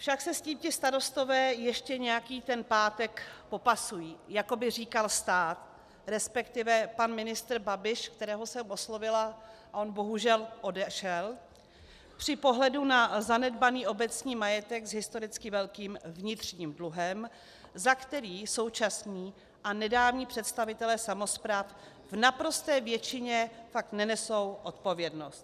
Však se s tím ti starostové ještě nějaký ten pátek popasují, jako by říkal stát, respektive pan ministr Babiš - kterého jsem oslovila a on bohužel odešel - při pohledu na zanedbaný obecní majetek s historicky velkým vnitřním dluhem, za který současní a nedávní představitelé samospráv v naprosté většině fakt nenesou odpovědnost.